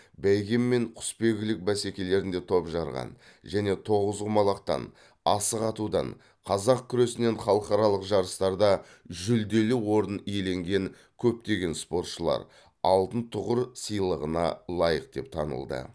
бәйге мен құсбегілік бәсекелерінде топ жарған және тоғызқұмалақтан асық атудан қазақ күресінен халықаралық жарыстарда жүлделі орын иеленген көптеген спортшылар алтын тұғыр сыйлығына лайық деп танылды